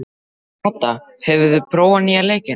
Kata, hefur þú prófað nýja leikinn?